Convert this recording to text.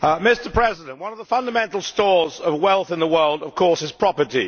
Mr President, one of the fundamental stores of wealth in the world, of course, is property.